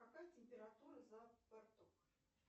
какая температура за бортом